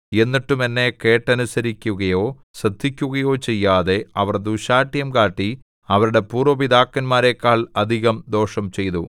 എന്നിട്ടും എന്നെ കേട്ടനുസരിക്കുകയോ ശ്രദ്ധിക്കുകയോ ചെയ്യാതെ അവർ ദുശ്ശാഠ്യം കാട്ടി അവരുടെ പൂര്‍വ്വ പിതാക്കന്മാരെക്കാൾ അധികം ദോഷം ചെയ്തു